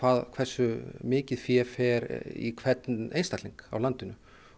hversu mikið fé fer í hvern einstakling á landinu